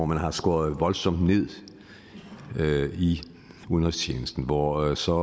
man har skåret voldsomt ned i udenrigstjenesten hvor der så